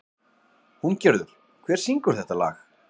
Húngerður, hver syngur þetta lag?